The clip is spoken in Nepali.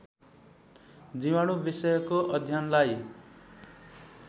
जीवाणु विषयको अध्ययनलाई